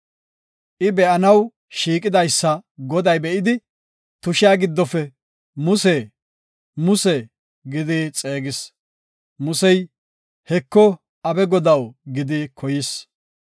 I be7anaw shiiqidaysa Goday be7idi, tushiya giddofe, “Muse! Muse!” gidi xeegis. Musey, “Heko, abe Godaw” gidi koyis.